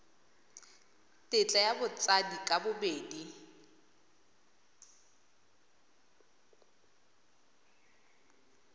tetla ya batsadi ka bobedi